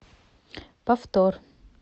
повтор